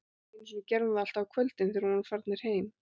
Einu sinni gerði hún það alltaf á kvöldin, þegar við vorum farnir heim